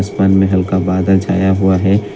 आसमान मेें हल्का बादल छाया हुआ है ।